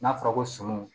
N'a fɔra ko sɔmiw